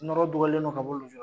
Nɔɔrɔ dugalen dɔ ka bɔ nujura